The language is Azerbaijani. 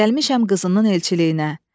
Gəlmişəm qızının elçiliyinə.